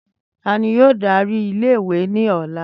Tani yoo dari ile-iwe ni ọla?